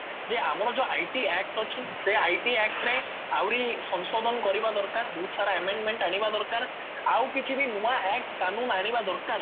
ଯେ ଆମର ଯୋଉ IT act ଅଛି ସେ IT act ରେ ଆହୁରି ସଂଶୋଧନ କରିବା ଦରକାର ବହୁତ ସାରା amendment ଆଣିବା ଦରକାର ଆଉ କିଛି ବି ନୂଆ act କାନୁନ ଆଣିବା ଦରକାର